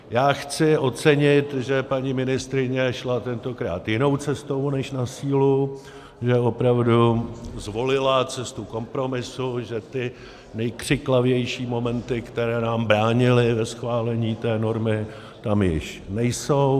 Já chci ocenit, že paní ministryně šla tentokrát jinou cestou než na sílu, že opravdu zvolila cestu kompromisu, že ty nejkřiklavější momenty, které nám bránily ve schválení té normy, tam již nejsou.